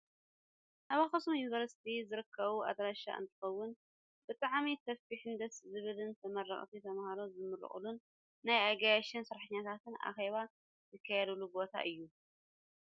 ኣብ ኣክሱም ዩኒቨርስቲ ዝርከብ ኣዳራሽ እንትከውን፣ ብጣዕሚ ሰፊሕን ደስ ዝብልን ተመረቅቲ ተማሃሮ ዝምረቅሉን ናይ ኣጋይሽን ሰራሕተኛታትን ኣኬባ ዝካየደሉ ቦታ እዩ።